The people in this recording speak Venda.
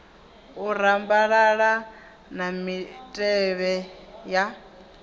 u rambalala na mitevhe ya